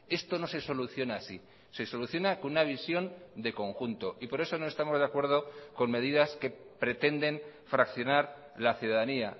esto no se soluciona así se soluciona con una visión de conjunto y por eso no estamos de acuerdo con medidas que pretenden fraccionar la ciudadanía